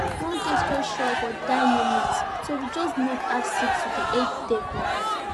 one guest just go show up for die minute so we just need add seats to the eid table